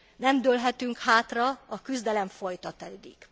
Nem dőlhetünk hátra, a küzdelem folytatódik.